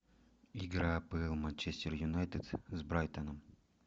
игра апл манчестер юнайтед с брайтоном